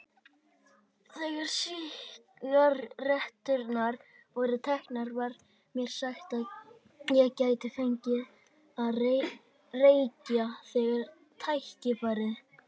Þegar sígaretturnar voru teknar var mér sagt að ég gæti fengið að reykja þegar tækifæri